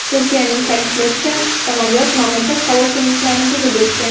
Turkiyaning ta’kidlashicha, samolyot mamlakat havo kengliklarini buzib o‘tgan.